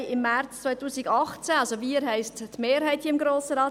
Wir haben im März 2018 – wir, das heisst die Mehrheit des Grossen Rates;